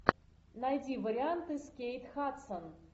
найди варианты с кейт хадсон